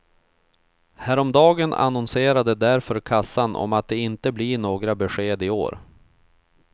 Häromdagen annonserade därför kassan om att det inte blir några besked i år.